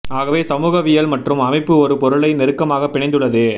ஆகவே சமூகவியல் மற்றும் அமைப்பு ஒரு பொருளை நெருக்கமாக பிணைந்து உள்ளது